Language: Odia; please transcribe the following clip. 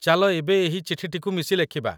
ଚାଲ ଏବେ ଏହି ଚିଠିଟିକୁ ମିଶି ଲେଖିବା।